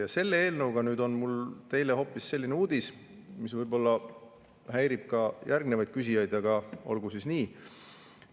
Ja selle eelnõuga nüüd on mul teile hoopis selline uudis, mis võib-olla häirib ka järgnevaid küsijaid, aga olgu siis nii.